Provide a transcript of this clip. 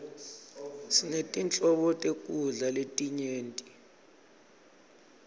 sinetinhlobo tekudla letinyenti